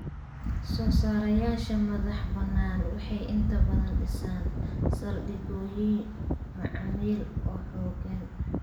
Soosaarayaasha madaxbannaan waxay inta badan dhisaan saldhigyo macaamiil oo xooggan.